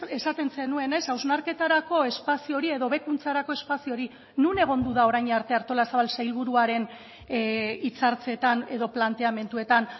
esaten zenuenez hausnarketarako espazio hori edo hobekuntzarako espazio hori non egondu da orain arte artolazabal sailburuaren hitzartzetan edo planteamenduetan